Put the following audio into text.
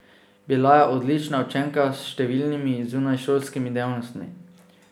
Bila je odlična učenka s številnimi zunajšolskimi dejavnostmi.